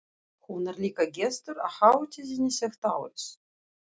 Hún er líka gestur á hátíðinni þetta árið.